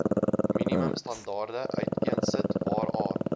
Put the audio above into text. minimumstandaarde uiteensit waaraan